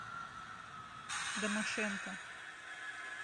домашенко